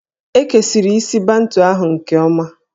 E kesiri isi Bantu ahụ nke ọma